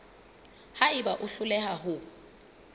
ha eba o hloleha ho